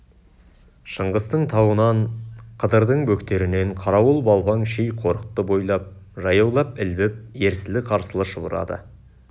шыңғыстың тауынан қыдырдың бөктерінен қарауыл-балпаң ши қорықты бойлап жаяулап ілбіп ерсілі-қарсылы шұбырады